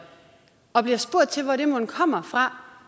og at bliver spurgt til hvor det mon kommer fra